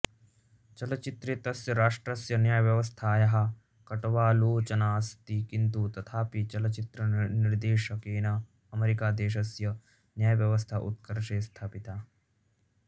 चलचित्रे तस्य राष्ट्रस्य न्यायव्यवस्थायाः कट्वालोचनास्ति किन्तु तथापि चलचित्रनिर्देशकेन अमेरिकादेशस्य न्यायव्यवस्था उत्कर्षे स्थापिता